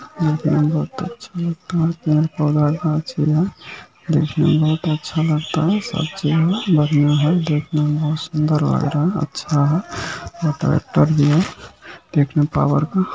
देखने में बहुत अच्छा लगता है देखने में बहुत अच्छा लगता है सब चीज में बड़िया है देखने में बहुत सूंदर लग रहा है अच्छा है और ट्रैक्टर भी है पावर का